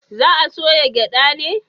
Za a soya gyada ne?